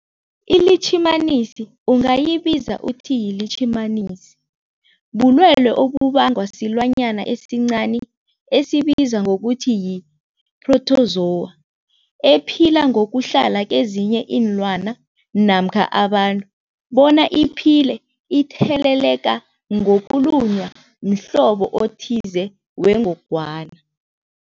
ILitjhimanisi ungayibiza uthiyilitjhimanisi, bulwelwe obubangwa silwanyana esincani esibizwa ngokuthiyi-phrotozowa ephila ngokuhlala kezinye iinlwana namkha abantu bona iphile itheleleka ngokulunywa mhlobo othize wengogwana.